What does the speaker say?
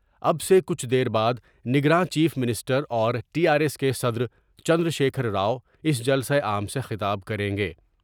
اب سے کچھ دیر بعد نگراں چیف منسٹر اور ٹی آرایس کے صدر چندرشیکھر راؤ اس جلسہ عام سے خطاب کریں گے ۔